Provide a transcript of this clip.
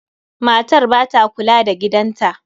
Matar ba ta kula da gidan ta.